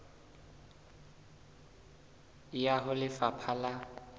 e ya ho lefapha la